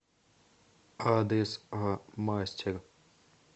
адрес а мастер